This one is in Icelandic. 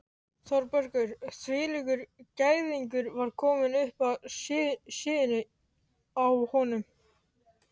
Þórbergur hvílíkur gæðingur var kominn upp að síðunni á honum?